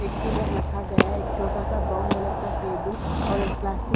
एक कूलर रखा गया है एक छोटा सा ब्राउन कलर का टेबल और एक प्लास्टिक --